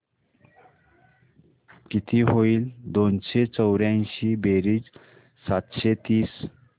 किती होईल दोनशे चौर्याऐंशी बेरीज सातशे तीस